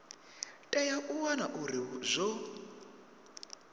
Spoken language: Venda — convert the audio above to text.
tea u wana uri zwo